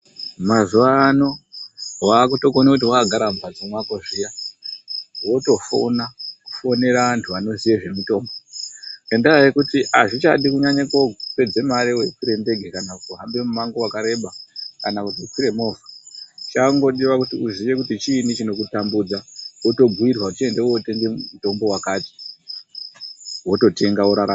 Mazuwano wakutokona kuti wakagara mumhatso mako zviya wotofona kufonera antu anoziya zvemutombo ngendaa yekuti azvichadi kunyanya kupedza mari kokwira ndege kana kuhamba mumango wakareba kana kuti kukwira movha. Chakungodiwa kuti uziye kuti chiini chinokutambudza wotobhuirwa kuti enda wotenga mutombo wakati wototenga worarama.